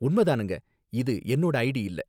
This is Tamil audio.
உண்ம தானுங்க, இது என்னோட ஐடி இல்ல